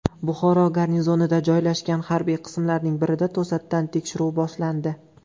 Buxoro garnizonida joylashgan harbiy qismlarning birida to‘satdan tekshiruv boshlandi .